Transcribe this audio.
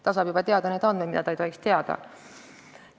Ta saab teada neid andmeid, mida ta ei tohiks teada.